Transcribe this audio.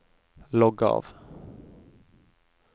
logg av